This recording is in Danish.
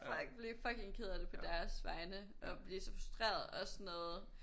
Fuck! Blive fucking ked af det på deres vejne og blive så frustreret og også sådan noget